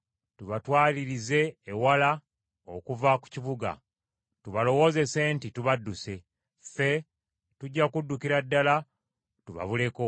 tubatwalirize ewala okuva ku kibuga, tubalowoozese nti, tubadduse. Ffe tujja kuddukira ddala tubabuleko.